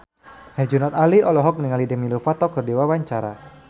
Herjunot Ali olohok ningali Demi Lovato keur diwawancara